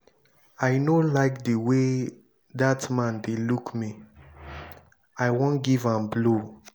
i no like the way dat man dey look me. i wan give am blow.